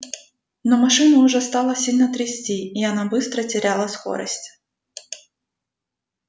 но машину уже стало сильно трясти и она быстро теряла скорость